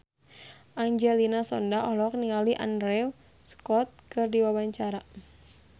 Angelina Sondakh olohok ningali Andrew Scott keur diwawancara